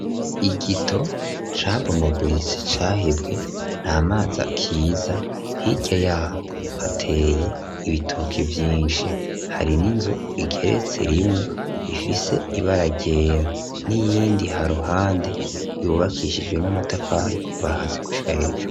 Igito cabomaguritse cahibwe nta mazi akiza hirya yaho hateye ibitoki vyinshi hari n'inzo igeretse rimwe ifise ibaragera n'iyindi haruhande yubakishijwe n'amatafari kuva hasi gushika hejuru.